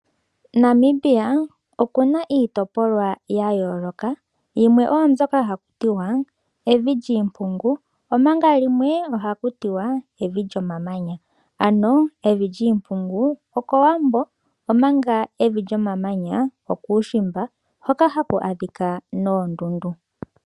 Namibia okuna iitopolwa yayooloka, yimwe oyo mbyoka hakutiwa evi lyiimpungu omanga limwe ohakutiwa evi lyomamanya, ano evi lyiimpungu okowambo omanga evi lyomamanya okuushimba hoka haku adhika noondundu.